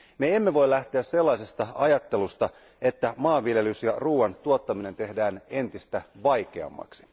Me emme voi lähteä sellaisesta ajattelusta, että maanviljelys ja ruuan tuottaminen tehdään entistä vaikeammaksi.